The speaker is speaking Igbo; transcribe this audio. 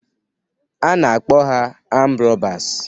A na-akpọ ha amd rọbas